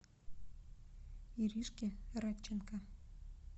иришки радченко